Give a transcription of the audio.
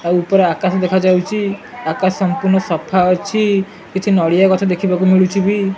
ଆଉ ଉପରେ ଆକାଶ ଦେଖାଯାଉଚି। ଆକାଶ ସମ୍ପୂର୍ଣ୍ଣ ସଫା ଅଛି। କିଛି ନଡ଼ିଆ ଗଛ ଦେଖିବାକୁ ମିଳୁଚି ବି।